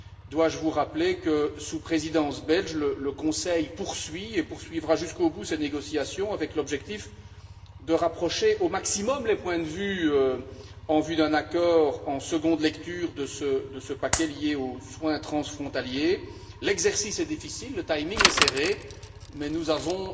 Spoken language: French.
Dois je vous rappeler que, sous la Présidence belge, le Conseil poursuit, et poursuivra, jusqu'au bout ses négociations, avec l'objectif de rapprocher au maximum les points de vue en vue d'un accord en seconde lecture sur ce paquet lié aux soins transfrontaliers. L'exercice est difficile, le timing est serré mais nous avons